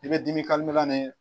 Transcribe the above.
I bɛ dimi ni